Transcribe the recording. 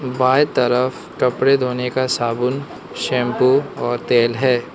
बाएं तरफ कपड़े धोने का साबुन शैंपू और तेल है।